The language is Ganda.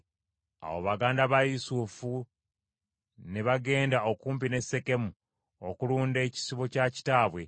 Awo baganda ba Yusufu ne bagenda okumpi ne Sekemu okulunda ekisibo kya kitaabwe.